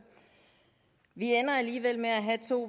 vi ender alligevel med at have to